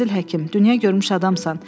Fazil həkim, dünya görmüş adamsan.